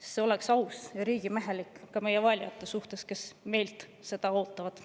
See oleks aus ja riigimehelik ka meie valijate suhtes, kes meilt seda ootavad.